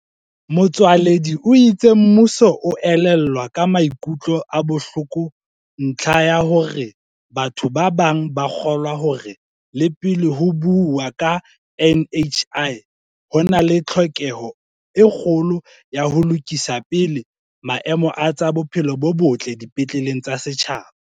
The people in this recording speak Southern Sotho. Motsoaledi o itse mmuso o elellwa ka maikutlo a bohloko ntlha ya hore batho ba bang ba kgolwa hore le pele ho buuwa ka NHI ho na le tlhoke ho e kgolo ya ho lokisa pele maemo a tsa bophelo bo botle dipetleng tsa setjhaba.